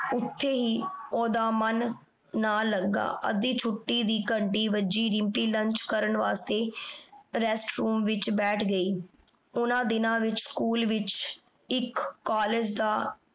ਓਥੇ ਈ ਓਦਾ ਮਨ ਨਾ ਲਗਾ ਅਧਿ ਛੁਟੀ ਦੀ ਘੰਟੀ ਵਜੀ ਦਿਮ੍ਪੀ lunch ਕਰਨ ਵਾਸ੍ਟੀ restroom ਵਿਚ ਬੈਠ ਗਈ ਓਹਨਾਂ ਦਿਨਾਂ ਵਿਚ ਸਕੂਲ ਵਿਚ ਏਇਕ college ਦਾ